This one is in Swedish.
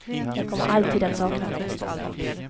Jag kommer alltid att sakna dig.